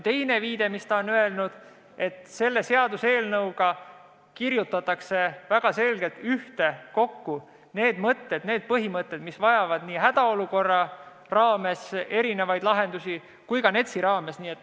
Teine asi, mida õiguskantsler on öelnud: selle seaduseelnõuga koondatakse väga selgelt ühtekokku need põhimõtted, mis vajavad erinevaid lahendusi nii hädaolukorra kui ka NETS-i raames.